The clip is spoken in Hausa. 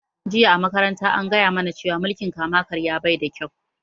Jiya a makaranta an gaya mu na cewa mulkin kama karya baida kyau